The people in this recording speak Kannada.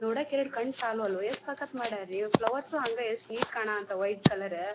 ನೋಡಕ್ಕೆ ಎರಡು ಕಣ್ಣು ಸಾಲವದು ಎಷ್ಟು ಸಕ್ಕತ್ ಮಾಡ್ಯಾರೀ ಫ್ಲವರ್ಸು ಹಂಗ ಎಷ್ಟ್ ನೀಟ್ ಕಾಣಹತ್ತಾವ ವೈಟ್ ಕಲರ್ .